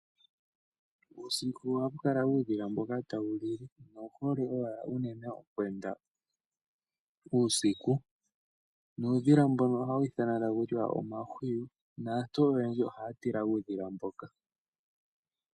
Uusiku ohaku kala uudhila mboka tawu li. Owu hole owala unene okweenda uusiku. Nuudhila mbono ohawu ithanwa taku tiwa omahwiyu . Naantu oyendji ohaya tila uudhila mboka.